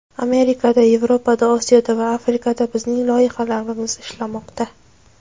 Amerikada, Yevropada, Osiyoda va Afrikada bizning loyihalamiz ishlamoqda.